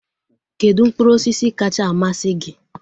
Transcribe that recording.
Kedụ mkpụrụ osisi kacha amasị gị?